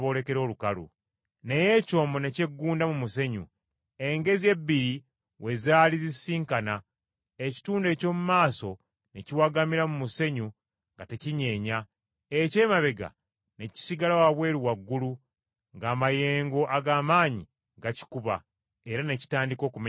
Naye ekyombo ne kyeggunda mu musenyu engezi ebbiri we zaali zisisinkana, ekitundu eky’omu maaso ne kiwagamira mu musenyu nga tekinyeenya, eky’emabega ne kisigala wabweru waggulu, ng’amayengo ag’amaanyi gakikuba, era ne kitandika okumenyekamenyeka.